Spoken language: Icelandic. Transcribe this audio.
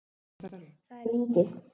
Það er lítið